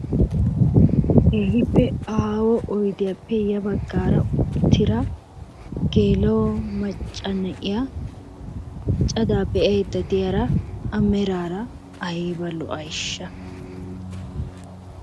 Keehippe aaho oyddiyaappe ya baggara uttida geala'o macca na'iya caga be''aydda de'iyaara a merara aybba lo''ayishsha!